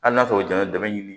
Hali n'a sɔrɔ o jaalen bɛ dɛmɛ ɲini